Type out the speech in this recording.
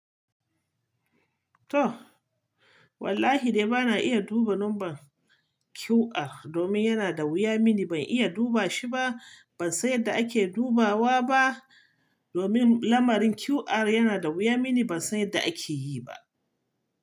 To, wallahi dai bana iya duba lambar QR domin yana da wuya mini. Ban iya duba shi ba. Ban san yadda ake dubawa ba domin lamarin QR yana da wuya mini. Ban san yadda ake yi ba.